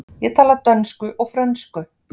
Ég tala dönsku og frönsku.